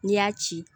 N'i y'a ci